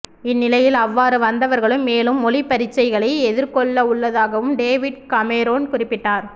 இந்நிலையில் அவ்வாறு வந்தவர்களும் மேலும் மொழிப் பரீட்சைகளை எதிர்கொள்ளவுள்ளதாக டேவிட் கமெரோன் குறிப்பிட்டார்